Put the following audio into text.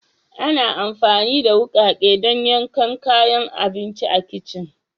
Ana amfani da wukake don yankan kayan abinci a kicin